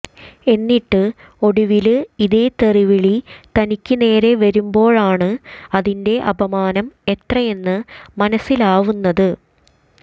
എന്നിട്ട് ഒടുവില് ഇതേ തെറിവിളി തനിക്ക് നേരെ വരുമ്പോഴാണ് അതിന്റെ അപമാനം എത്രയെന്ന് മനസിലാവുന്നത്